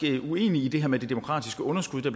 uenig i det her med det demokratiske underskud der